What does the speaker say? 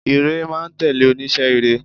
Ìre máa n tèlé onísé ire